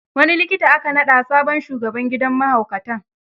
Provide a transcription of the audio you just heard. Wani likita aka naɗa sabon shugaban gidan mahaukatan.